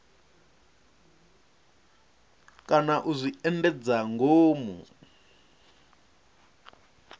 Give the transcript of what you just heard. kana u zwi endedza ngomu